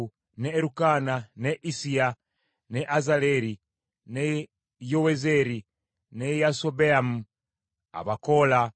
ne Erukaana, ne Issiya, ne Azaleri, ne Yowezeeri, ne Yasobeyamu, Abakoola;